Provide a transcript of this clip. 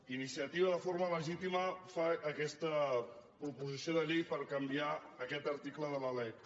iniciativa de forma legítima fa aquesta proposició de llei per canviar aquest article de la lec